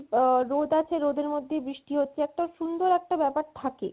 এই রোদ আছে রোদের মধ্যেই বৃষ্টি হচ্ছে একটা সুন্দর একটা ব্যাপার থাকে